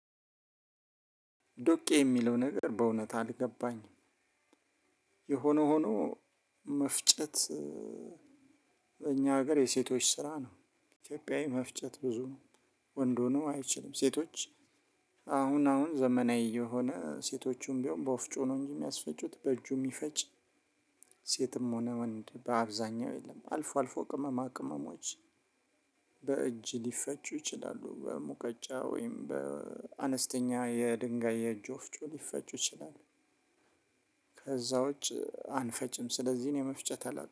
ዶቄ የሚለው ነገር በእውነት አልገባኝም። የሆነ ሆኖ መፍጨት እኛ ሀገር የሴቶች ስራ ነው። ኢትዮጵያዊ መፍጨት ብዙ ነው ወንድ ሆኖ አይችልም ሴቶች። አሁን አሁን ዘመናዊ የሆነ ሴቶቹም ቢሆን በወፍጮ ነው እንጂ ሚያስፈጩት በእጁ ሚፈጭ። ሴትም ሆነ ወንድ በአብዛኛው የለም። አልፎ አልፎ ቅመማ ቅመሞች። በእጅ ሊፈጩ ይችላሉ በሙቀጫ ወይም በአነስተኛ የድንጋይ የእጁ ወፍጩ ሊፈጩ ይችላል። ከዛ ውጭ አንፈጭም። ስለዚህ ነው መፍጨት አላት